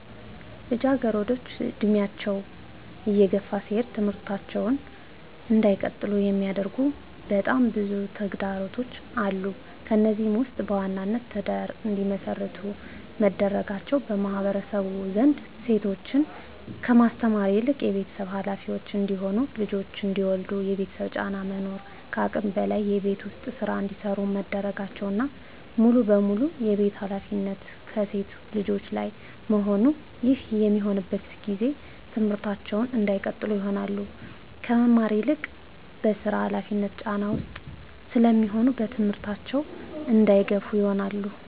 ልጃገረዶች እድሜያቸው እየገፋ ሲሄድ ትምህርታቸውን እንዳይቀጥሉ የሚያደርጉ በጣም ብዙ ተግዳሮቶች አሉ። ከነዚህም ውስጥ በዋናነት ትዳር እንዲመሰርቱ መደረጋቸው በማህበረሰቡ ዘንድ ሴቶችን ከማስተማር ይልቅ የቤተሰብ ሀላፊዎች እንዲሆኑ ልጆች እንዲወልዱ የቤተሰብ ጫና መኖር ከአቅም በላይ የቤት ውስጥ ስራ እንዲሰሩ መደረጋቸውና ሙሉ በሙሉ የቤቱን ሀላፊነት ከሴት ልጆች ላይ መሆኑ ይህ በሚሆንበት ጊዜ ትምህርታቸውን እንዳይቀጥሉ ይሆናሉ። ከመማር ይልቅ በስራ ሀላፊነት ጫና ውስጥ ስለሚሆኑ በትምህርታቸው እንዳይገፋ ይሆናሉ።